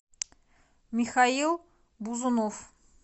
михаил бузунов